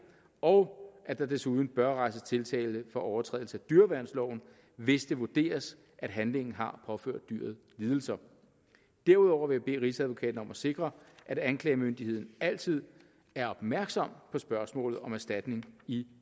og at der desuden bør rejses tiltale for overtrædelse af dyreværnsloven hvis det vurderes at handlingen har påført dyret lidelse derudover vil jeg bede rigsadvokaten om at sikre at anklagemyndigheden altid er opmærksom på spørgsmålet om erstatning i